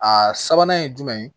A sabanan ye jumɛn ye